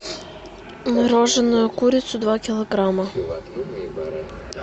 мороженую курицу два килограмма